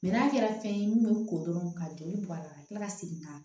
n'a kɛra fɛn ye mun bɛ ko dɔrɔn ka joli bɔ a la ka kila ka segin ka na